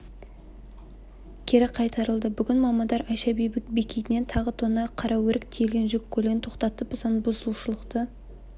кері қайтарылды бүгін мамандар айша бибі бекетінен тағы тонна қараөрік тиелген жүк көлігін тоқтатып заңбұзушылықты